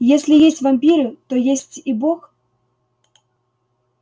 если есть вампиры то есть и бог